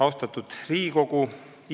Austatud Riigikogu!